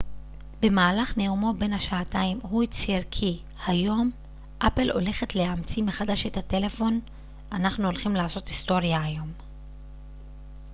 במהלך נאומו בן השעתיים הוא הצהיר כי היום אפל הולכת להמציא מחדש את הטלפון אנחנו הולכים לעשות היסטוריה היום